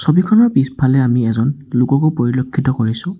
ছবিখনৰ পিছফালে আমি এজন লোককো পৰিলক্ষিত কৰিছোঁ।